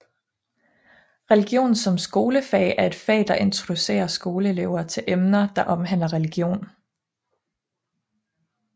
Religion som skolefag er et fag der introducerer skolelever til emner der omhandler religion